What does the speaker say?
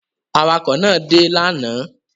Awakọ̀ náà dé lánàá?